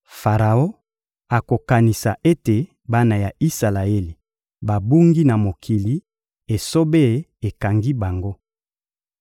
Faraon akokanisa ete bana ya Isalaele babungi na mokili, esobe ekangi bango.